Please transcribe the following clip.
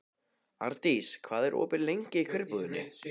Ardís, hvað er opið lengi í Kjörbúðinni?